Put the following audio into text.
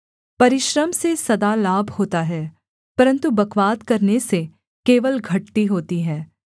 परिश्रम से सदा लाभ होता है परन्तु बकवाद करने से केवल घटती होती है